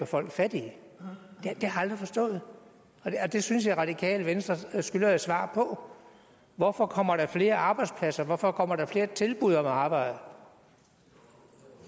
folk fattige det har jeg aldrig forstået og det synes jeg at radikale venstre skylder et svar på hvorfor kommer der flere arbejdspladser hvorfor kommer der flere tilbud om arbejde